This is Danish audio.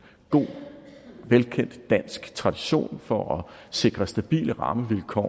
god velkendt dansk tradition for at sikre stabile rammevilkår